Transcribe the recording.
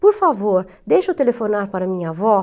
Por favor, deixa eu telefonar para minha avó.